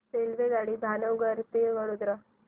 रेल्वेगाडी भावनगर ते वडोदरा